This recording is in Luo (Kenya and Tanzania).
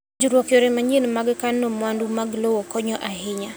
Puonjruok yore manyien mag kano mwandu mag lowo konyo ahinya.